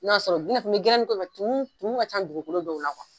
N'o y'a sɔrɔ, i n'a fɔ gɛrɛnnin ko in bɛ tumun tumun ka can dugukolo dɔw la